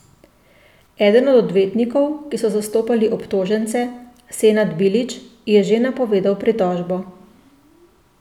Eden od odvetnikov, ki so zastopali obtožence, Senad Bilić, je že napovedal pritožbo.